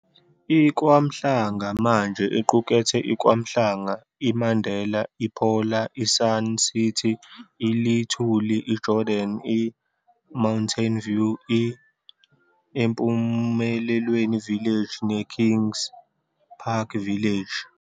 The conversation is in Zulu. I-Kwamhlanga manje iqukethe i-KwaMhlanga, i-Mandela, i-Phola, i-Sun City, i-Lithuli, i-Jordan, i-Mountain View, i-eMpumelelweni Village, neKingspark Village.